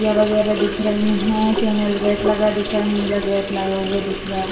खिड़कियां वगेरा दिख रहीं हैं। चैनल गेट लगा दिख रहा है। नीला गेट लगा हुआ दिख रहा है।